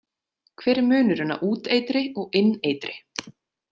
Hver er munurinn á úteitri og inneitri?